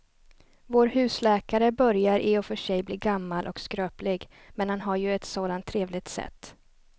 Vår husläkare börjar i och för sig bli gammal och skröplig, men han har ju ett sådant trevligt sätt!